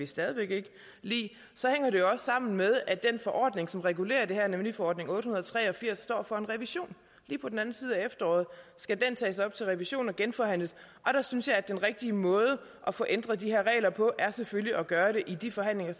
stadig væk ikke lide så hænger det jo også sammen med at den forordning som regulerer det her nemlig forordning otte hundrede og tre og firs står over for en revision lige på den anden side af efteråret skal den tages op til revision og genforhandles og jeg synes at den rigtige måde at få ændret de her regler på selvfølgelig er at gøre det i de forhandlinger